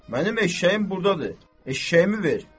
Mənim eşşəyim burdadır, eşşəyimi ver.